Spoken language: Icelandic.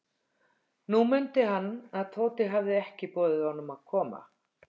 Nú mundi hann, að Tóti hafði ekki boðið honum að koma.